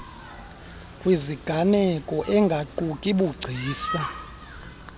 kwiziganeko engaquki bugcisa